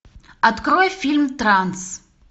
открой фильм транс